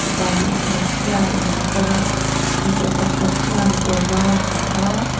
pa leh hmeichhia in an kar a mipa pakhat chuan kawr var a ha a.